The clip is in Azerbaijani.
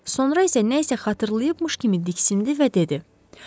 Sonra isə nəsə xatırlamış kimi diksindi və dedi: